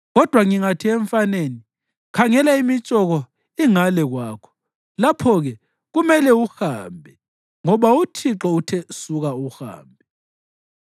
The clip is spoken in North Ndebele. Kodwa ngingathi emfaneni, ‘Khangela, imitshoko ingale kwakho,’ lapho-ke kumele uhambe, ngoba uThixo uthe suka uhambe.